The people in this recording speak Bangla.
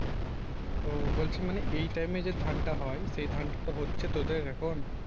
ও বলছিলাম মানে এই time এ যে ধানটা হয় এই ধানটা হচ্ছে তো তোদের এখন